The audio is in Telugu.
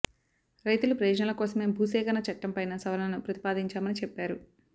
రైతుల ప్రయోజనాల కోసమే భూసేకరణ చట్టం పైన సవరణలను ప్రతిపాదించామని చెప్పారు